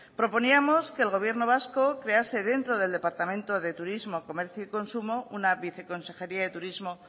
proponíamos que el gobierno vasco crease dentro del departamento de turismo comercio y consumo una viceconsejería de turismo